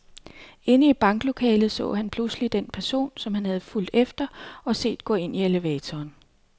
Inde i banklokalet så han pludselig den person, som han havde fulgt efter og set gå ind i elevatoren.